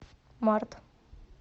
март